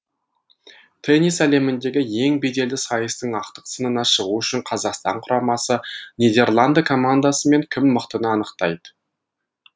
теннис әлеміндегі ең беделді сайыстың ақтық сынына шығу үшін қазақстан құрамасы нидерланды командасымен кім мықтыны анықтайды